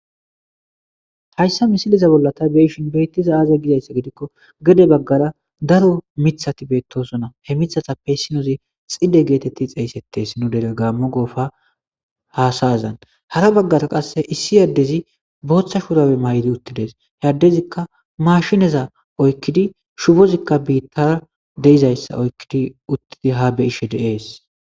Hayssa misiliza bollata beishin beittiza aaza gizayssa gidikko gede baggara daro mithati beettosona he mithatappeyssinoozi xide geetetti xeeyssettees nu dere gaammo goofa hasayazan hara baggara qasse issi yaddezi booththa shudabe may'idi uttides heyaddezikka maashineza oykkidi shubozikka biittara deizayssa oykkidi uttidi ha beishe dees